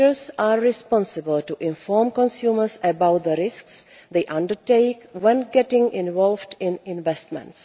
Creditors are responsible for informing consumers about the risks they undertake when getting involved in investments.